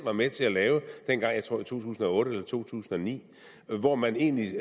var med til at lave dengang i to tusind og otte eller to tusind og ni hvor man egentlig